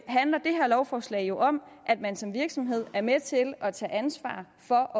handler det her lovforslag om at man som virksomhed er med til at tage ansvar for